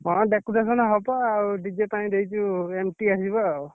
ହଁ decoration ହବ ଆଉ DJ ପାଇଁ ଦେଇଛୁ NT ଆସିବ ଆଉ।